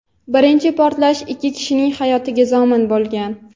Birinchi portlash ikki kishining hayotiga zomin bo‘lgan.